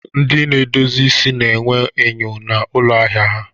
Ndị na-edozi isi na-enwe enyo na ụlọ ahịa ha.